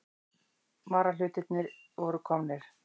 Varahlutirnir voru komnir.